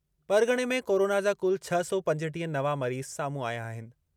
परग॒णे में कोरोना जा कुल छह सौ पंजटीह नवां मरीज़ साम्हूं आया आहिनि।